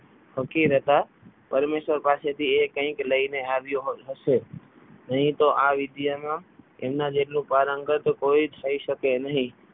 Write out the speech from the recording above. ફકીર હતા પરમેશ્વર પાસેથી એ કંઈક લઈને આવ્યો હશે નહીં તો આ વિદ્યામાં એમના જેટલું પારંગત કોઈ થઈ શકે નહીં.